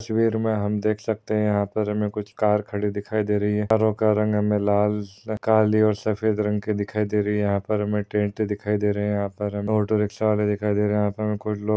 इस तस्वीर मे हम दे सकते है यहा पर हमे कुछ कार खड़े दिखाई दे रहे है कारों का रंग हमे लाल काली सफ़ेद रंग की दिखाई दे रही है यहा पर हमे ट्रेंट दिखाई दे रहे है यहा पर ऑटो रिकशा वाले दिखाई दे रहे है यहा पर कुछ लोग --